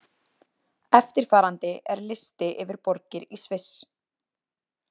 Eftirfarandi er listi yfir borgir í Sviss.